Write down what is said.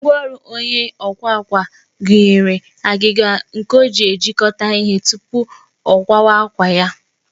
Ngwaọrụ onye ọkwa àkwá gụnyere agịga nke o ji ejikọta ihe tupu ọkwụkwa ya